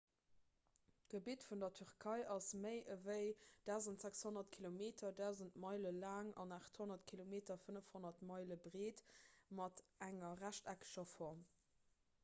d'gebitt vun der tierkei ass méi ewéi 1 600 kilometer 1 000 meile laang an 800 km 500 meile breet mat enger rechteckeger form